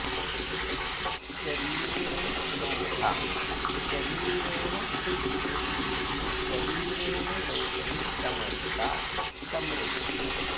शरीरेण शोभा शरीरेण सिद्धिः शरीरेण लोके समस्ता समृद्धिः